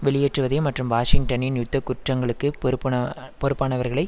வெளியேற்றுவதையும் மற்றும் வாஷிங்டனின் யுத்த குற்றங்களுக்கு பொருப்புன பொருப்பானவர்களை